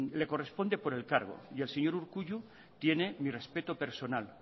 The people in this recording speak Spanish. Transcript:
le corresponde por el cargo y el señor urkullu tiene mi respeto personal